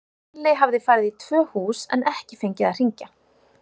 Lúlli hafði farið í tvö hús en ekki fengið að hringja.